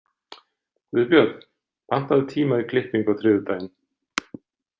Guðbjörn, pantaðu tíma í klippingu á þriðjudaginn.